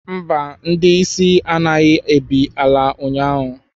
Mba, ndị isi anaghị ebi n'ala ụnyahụ